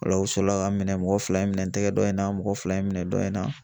Ola u sɔrɔla k'a minɛ, mɔgɔ fila ye minɛ n tɛgɛ dɔ in na, mɔgɔ fila ye n minɛ dɔ in na .